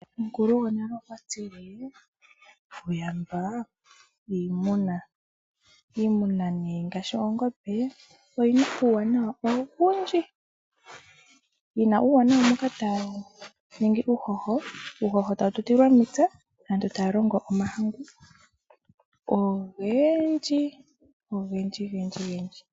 Omukulu gwonale okwa tile uuyamba iimuna . Iimuna ngaashi oongombe oyina uuwanawa owundji . Uuwanawa ongaashi uuhoho mboka hawu tutilwa mepya , aantu taya longo omahangu ogendji.